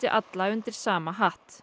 alla undir sama hatt